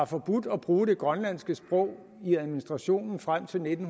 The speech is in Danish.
forbudt at bruge det grønlandske sprog i administrationen frem til nitten